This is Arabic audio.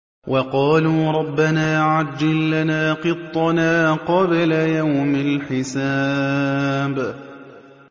وَقَالُوا رَبَّنَا عَجِّل لَّنَا قِطَّنَا قَبْلَ يَوْمِ الْحِسَابِ